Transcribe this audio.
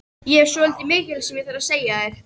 Ég hef svolítið mikilvægt sem ég þarf að segja þér.